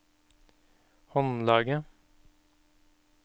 håndlaget